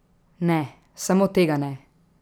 Ne, samo tega ne!